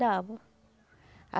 Dava ah